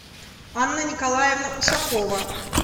анна николаевна ушакова